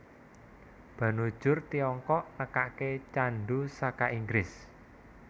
Banujur Tiongkok nekake candu saka Inggris